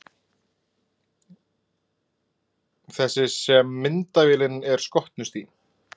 Þessi sem myndavélin er skotnust í.